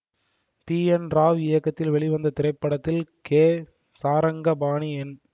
B N Rao இயக்கத்தில் வெளிவந்த இத்திரைப்படத்தில் கே சாரங்கபாணி என்